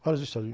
Vários estados.